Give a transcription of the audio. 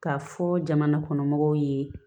K'a fɔ jamana kɔnɔ mɔgɔw ye